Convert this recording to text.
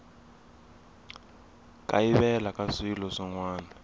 kayivela ka swilo swin wana